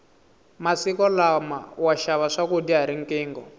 masiku lama wa xava swakudya hi riqingho